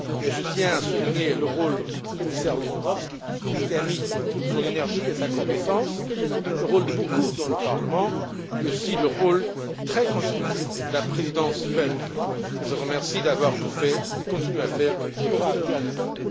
Mais je tiens à souligner le rôle du commissaire Lewandowski, qui a mis toute son énergie et sa compétence, le rôle de beaucoup au Parlement, mais aussi le rôle très constructif de la Présidence belge, que je remercie d'avoir tout fait et de continuer à tout faire pour arriver à un accord.